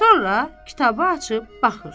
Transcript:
Sonra kitabı açıb baxır.